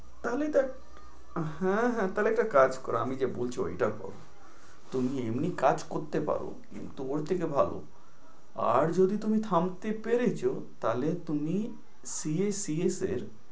তাহলে তো হ্যাঁ হ্যাঁ একটা কাজ করো, আমি যে বলছি ঐটা করো। তুমি এমনি কাজ করতে পারো কিন্তু ওর থেকে ভালো আর যদি তুমি থামতে পেরেছো তাহলে তুমি CA, CS এর